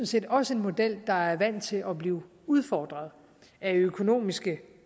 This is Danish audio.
set også en model der er vant til at blive udfordret af økonomiske